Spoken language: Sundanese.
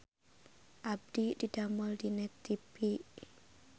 Abdi didamel di Net TV